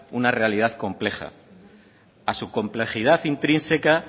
una realidad compleja a su complejidad intrínseca